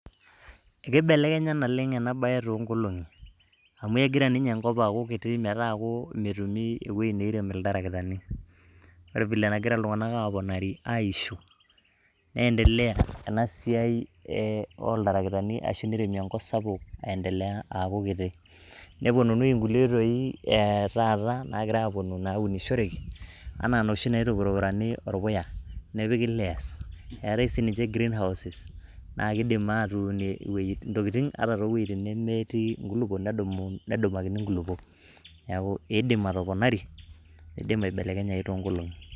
keibelekenya naleng' ena bae too nkolong'i, amuu egira ninye enkop aaku kiti metaaku metumi ewueji neirem iltarakitani, ore vile negira iltung'anak aponari aiisho. ne endelea enasiai ooitarakitani aaku neiremi enkop sapuk aa endelea aaku kiti. nepuonunui inkulie oitoi ee taata naunishoreki, anaa inoshi naitupurupurani orpuya nepiki layers eetae sii ninye green houses naa keidim naa keidim aatuunie intokiting too wuejintin nemetii inkulupuok nedumakini inkulupuok, neaku keidim atoponari neidim atoponari too nkolong'i.